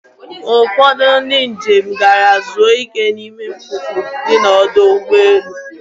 Ụfọdụ ndi njem gara zuo ike n'ime mkpuke di n'ọdọ ụgbọelu.